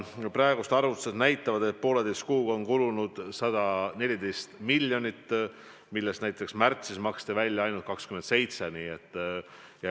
Praegused arvutused näitavad, et poolteise kuuga on kulunud 114 miljonit, millest näiteks märtsis maksti välja ainult 27 miljonit.